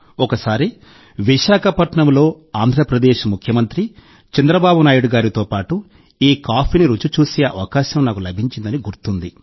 ఒకసారి విశాఖపట్నంలో ఆంధ్రప్రదేశ్ ముఖ్యమంత్రి చంద్రబాబు నాయుడు గారితో పాటు ఈ కాఫీని రుచి చూసే అవకాశం నాకు లభించిందని గుర్తుంది